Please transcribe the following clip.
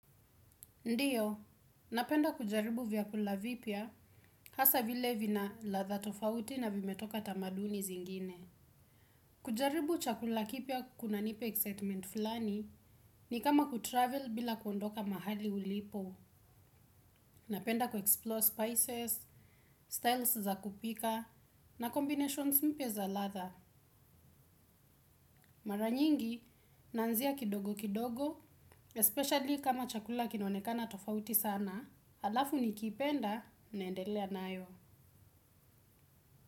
Ndiyo, napenda kujaribu vyakula vipya, hasa vile vina latha tofauti na vimetoka tamaduni zingine. Kujaribu chakula kipya kuna nipa excitement fulani ni kama kutravel bila kuondoka mahali ulipo. Napenda kuexplore spices, styles za kupika, na combinations mpya za latha. Maranyingi, naanzia kidogo kidogo, especially kama chakula kinaonekana tofauti sana. Alafu nikipenda naendelea nayo.